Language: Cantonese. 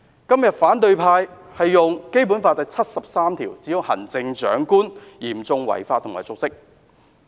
今天反對派引用《基本法》第七十三條，指控行政長官嚴重違法及瀆職。